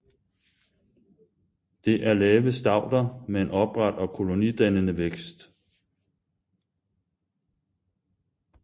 Det er lave stauder med en opret og kolonidannende vækst